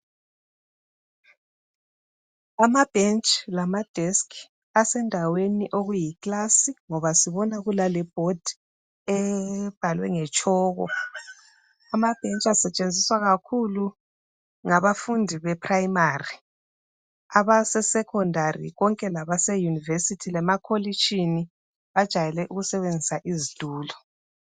Amabhentshi lamadesk asendaweni okuyi kilasi ngoba sibona kulale bhodi ebhalwe ngetshoko .Amabhentshi asetshenziswa kakhulu ngabafundi beprimary. Abase secondary konke labaseuniversity lemakolitshini bajayele ukusebenzisa izitulo.